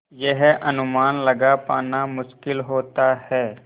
यह अनुमान लगा पाना मुश्किल होता है